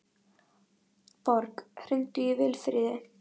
Borg, hringdu í Vilfríði.